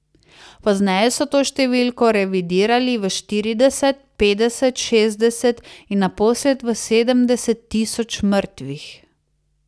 Pozneje so to številko revidirali v štirideset, petdeset, šestdeset in naposled v sedemdeset tisoč mrtvih.